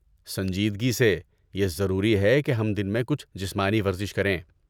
سنجیدگی سے، یہ ضروری ہے کہ ہم دن میں کچھ جسمانی ورزش کریں۔